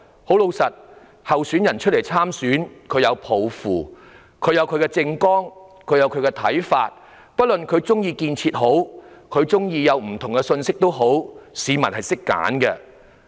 參選的候選人皆各有抱負、各有政綱，也有不同的看法，不管他們喜歡建設與否，市民自會懂得選擇。